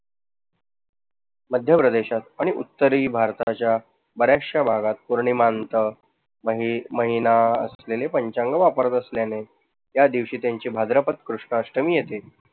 मध्य प्रदेशात आणि उत्तरी भारताच्या बऱ्याचश्या भागात पौर्णिमा नंतर मही महिना असलेले पंचांग वापरात असल्यामुळे त्या दिवशी त्यांची भाद्रपद कृष्ण अष्टमी येते.